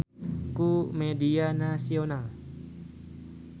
Robert Pattinson diliput ku media nasional